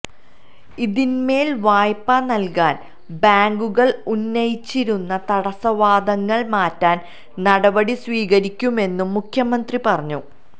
ഇതിന്മേല് വായ്പ നല്കാന് ബേങ്കുകള് ഉന്നയിച്ചിരുന്ന തടസ്സവാദങ്ങള് മാറ്റാന് നടപടി സ്വീകരിക്കുമെന്നും മുഖ്യമന്ത്രി പറഞ്ഞു